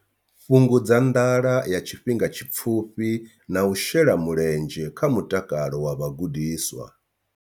Fhungudza nḓala ya tshifhinga tshipfufhi na u shela mulenzhe kha mutakalo wa vhagudiswa.